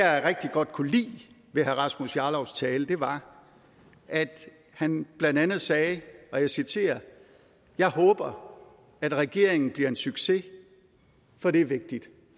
jeg rigtig godt kunne lide ved herre rasmus jarlovs tale var at han blandt andet sagde og jeg citerer jeg håber at regeringen bliver en succes for det er vigtigt